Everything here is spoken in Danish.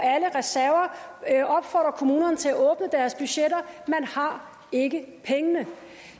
alle reserver og opfordre kommunerne til at åbne deres budgetter man har ikke pengene